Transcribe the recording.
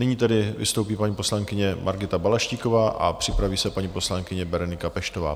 Nyní tedy vystoupí paní poslankyně Margita Balaštíková a připraví se paní poslankyně Berenika Peštová.